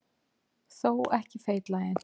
Þó ekki feitlaginn.